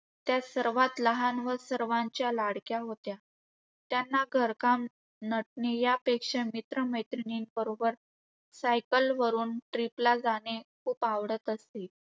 त्या सर्वात लहान व सर्वांच्या लाडक्या होत्या. त्यांना घरकाम, नटणे यापेक्षा मित्र मैत्रिणींबरोबर cycle वरुन trip ला जाने खुप आवडत असे.